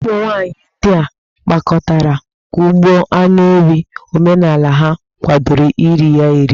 Ụmụ nwaanyị ndia gbakọtara kugbo anụ ewi, omenala ha kwadoro iri ya eri.